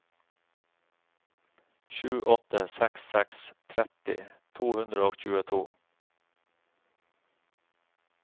sju åtte seks seks tretti to hundre og tjueto